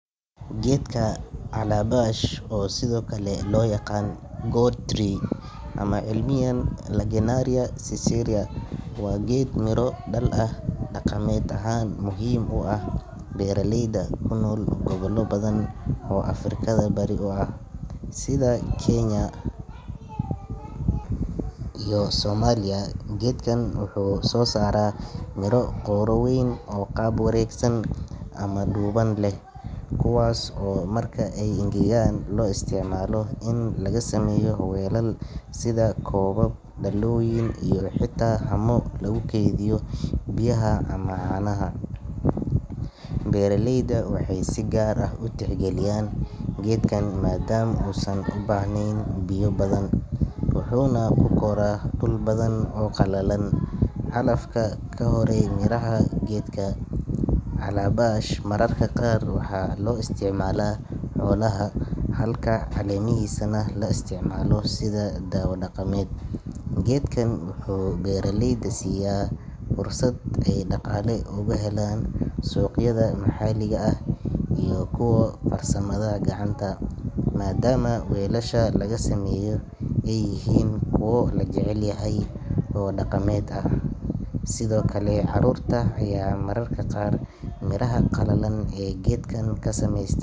Geedka calabash, oo sidoo kale loo yaqaan gourd tree ama cilmiyan Lagenaria siceraria, waa geed miro dhal ah oo dhaqameed ahaan muhiim u ah beeraleyda ku nool gobollo badan oo Afrikada Bari ah, sida Kenya iyo Soomaaliya. Geedkan wuxuu soo saaraa miro qaro weyn oo qaab wareegsan ama dhuuban leh, kuwaas oo marka ay engegaan loo isticmaalo in laga sameeyo weelal, sida koobab, dhalooyin, iyo xitaa haamo lagu kaydiyo biyaha ama caanaha. Beeraleyda waxay si gaar ah u tixgeliyaan geedkan maadaama uusan u baahnayn biyo badan, wuxuuna ku koraa dhul badan oo qallalan. Calafka ka haray miraha geedka calabash mararka qaar waxaa loo isticmaalaa xoolaha, halka caleemihiisana la isticmaalo sida daawo dhaqameed. Geedkan wuxuu beeraleyda siiya fursad ay dhaqaale uga helaan suuqyada maxalliga ah iyo kuwa farsamada gacanta, maadaama weelasha laga sameeyo ay yihiin kuwo la jecel yahay oo dhaqameed ah. Sidoo kale, carruurta ayaa mararka qaar miraha qalalan ee geedkan ka sameys.